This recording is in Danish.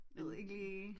Jeg ved ikke lige